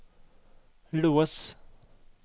lås